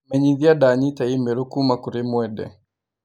Menyithia ndanyiita i-mīrū kuuma kũrĩ Mwende.